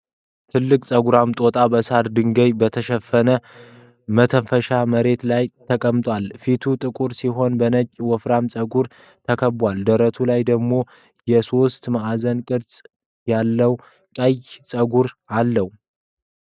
ትልቅ ጸጉራም ጦጣ በሳርና ድንጋይ በተሸፈነ መሬት ላይ ተቀምጧል። ፊቱ ጥቁር ሲሆን በነጭ ወፍራም ፀጉር ተከቧል፤ ደረቱ ላይ ደግሞ የሶስት ማዕዘን ቅርጽ ያለው ቀይ ፀጉር አለው።